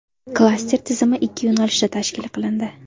Klaster tizimi ikkita yo‘nalishda tashkil qilindi.